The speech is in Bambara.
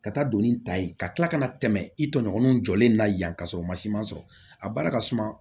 Ka taa don ni ta ye ka tila ka na tɛmɛ i tɔɲɔgɔnw jɔlen na yan ka sɔrɔ masiman sɔrɔ a baara ka suma